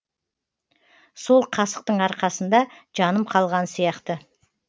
сол қасықтың арқасында жаным қалған сияқты